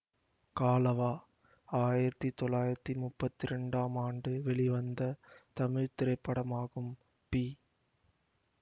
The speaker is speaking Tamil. காலவா ஆயிரத்தி தொள்ளாயிரத்தி முப்பத்தி இரண்டாம் ஆண்டு வெளிவந்த தமிழ் திரைப்படமாகும் பி